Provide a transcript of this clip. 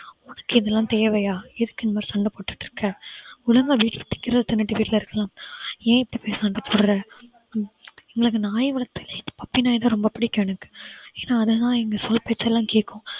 உனக்கு இதெல்லாம் தேவையா எதுக்கு இந்த மாதிரி சண்டை போட்டுட்டு இருக்க ஒழுங்கா வீட்ல வைக்கிறது தின்னுட்டு வீட்ல இருக்கலாம். ஏன் இப்படி போயி சண்டை போடுற எங்களுக்கு நாய் வளர்த்ததிலேயே puppy நாய் ரொம்ப பிடிக்கும் எனக்கு ஏன்னா அது தான் எங்க சொல் பேச்செல்லாம் கேட்கும்